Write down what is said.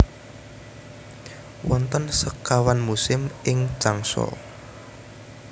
Wonten sekawan musim ing Changsa